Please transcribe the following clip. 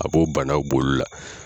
A b'o banaw b'olu la.